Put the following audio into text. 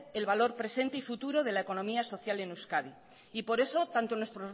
el valor presente y futuro de la economía social en euskadi y por eso tanto en